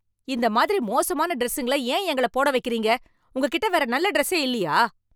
இந்த மாதிரி மோசமான டிரஸ்ஸுங்குள ஏன் எங்களப் போட வைக்கிறீங்க? உங்ககிட்ட வேற நல்ல டிரஸ்சே இல்லையா?